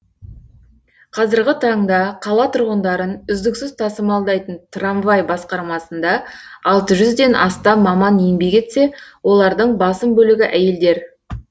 қазіргі таңда қала тұрғындарын үздіксіз тасымалдайтын трамвай басқармасында алты жүзден астам маман еңбек етсе олардың басым бөлігі әйелдер